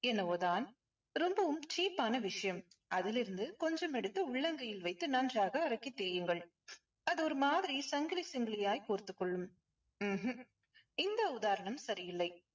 என்னவோ தான். ரொம்பவும் cheap ஆன விஷயம் அதிலிருந்து கொஞ்சம் உள்ளங்கையில் எடுத்து நன்றாக அறக்கி தேயுங்கள். அது ஒரு மாதிரி சங்கிலி சங்கிலியாய் கோர்த்துக் கொள்ளும் ம்ஹும் இந்த உதாரணம் சரியில்லை.